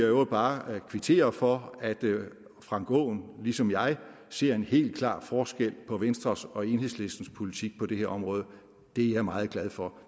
øvrigt bare kvittere for at herre frank aaen ligesom jeg ser en helt klar forskel på venstres og enhedslistens politik på det her område det er jeg meget glad for